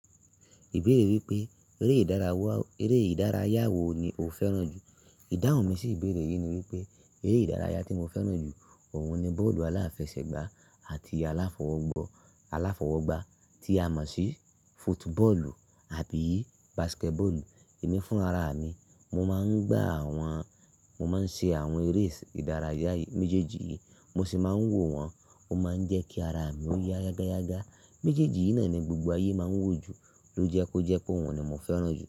Ìbéèrè wípé eré ìdárawá, eré ìdárayá wo ni o fẹ́ràn jù? Ìdáhùn mi sì ìbéèrè yìí ni wípé eré ìdárayá tí mo fẹ́ràn jù ọ̀wọ́n ni bọ́ọ̀lù aláfẹsẹ̀gbá àti aláfọwọ́gbá tí a mọ̀ sí football àbí basketball. Èmí fúnraramìi, mo máa ń gbá àwọn, mo máa ń ṣe àwọn eré ìdárayá méjèèjì yìí, mo sì máa ń wò wọ́n, ó máa ń jẹ́ kí ara mi ó yá yágáyágá. Méjèèjì yìí náà ni gbogbo ayé máa ń wò jù ló jẹ́ kó jẹ́ pé òun ni mo fẹ́ràn jù.